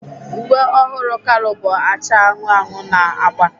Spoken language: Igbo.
Uwe ọhụrụ Kalu bụ acha anụnụ anụnụ na agba.